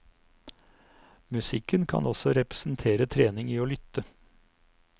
Musikken kan også representere trening i å lytte.